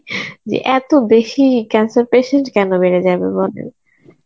যে এত বেশি cancer patient কেন বেড়ে যাবে বলেন